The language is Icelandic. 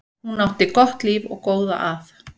Hún átti gott líf og góða að.